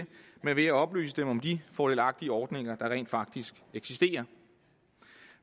men ved at oplyse dem om de fordelagtige ordninger der rent faktisk eksisterer